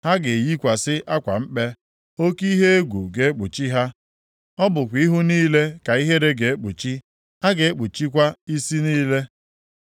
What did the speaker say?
Ha ga-eyikwasị akwa mkpe, oke ihe egwu ga-ekpuchi ha. Ọ bụkwa ihu niile ka ihere ga-ekpuchi, a ga-akpụchakwa isi niile.